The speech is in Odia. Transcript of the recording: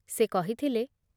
ସେ କହିଥିଲେ